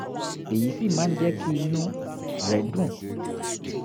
èyí sì máa ń jẹ́ kí inú rẹ̀ dùn